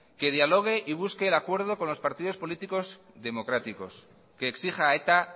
que dialogue y busque el acuerdo con los partidos políticos democráticos que exija a eta